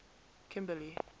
kimberley